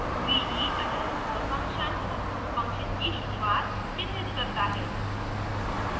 bg underscore function function की शुरूआत चिन्हित करता है